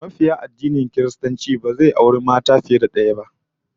Mabiyin addinin Kiristanci ba zai auri mata fiye da daya ba